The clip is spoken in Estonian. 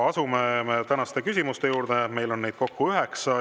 Asume tänaste küsimuste juurde, neid on kokku üheksa.